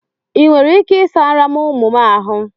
I nwere ike ị sara m ụmụ m ahụ?